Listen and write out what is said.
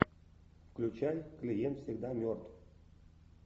включай клиент всегда мертв